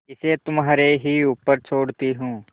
इसे तुम्हारे ही ऊपर छोड़ती हूँ